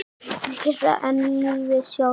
Meira en lífið sjálft.